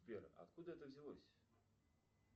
сбер откуда это взялось